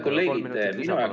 Kolm minutit lisaaega, palun!